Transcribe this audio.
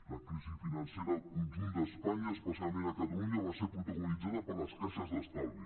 la crisi financera al conjunt d’espanya especialment a catalunya va ser protagonitzada per les caixes d’estalvi